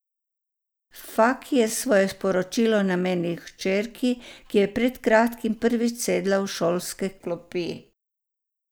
Faki je svoje sporočilo namenil hčeri, ki je pred kratkim prvič sedla v šolske klopi.